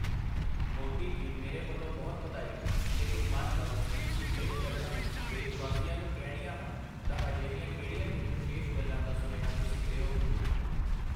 ਮੋਦੀ ਜੀ ਮੇਰੇ ਵੱਲੋਂ ਬਹੁਤ ਵਧਾਈ, ਲੇਕਿਨ ਮੰਨ ਲਓ, ਤੁਸੀਂ ਤਿੰਨ ਗੱਲਾਂ ਦੇਸ਼ਵਾਸੀਆਂ ਨੂੰ ਕਹਿਣੀਆਂ ਹਨ ਤਾਂ ਅਜਿਹੀਆਂ ਕਿਹੜੀਆਂ ਤਿੰਨ ਵਿਸ਼ੇਸ਼ ਗੱਲਾਂ ਦਾ ਸੁਨੇਹਾ ਤੁਸੀਂ ਦਿਓਗੇ ?